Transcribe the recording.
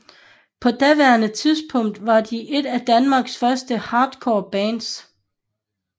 På daværende tidspunkt var de et af Danmarks første hardcore bands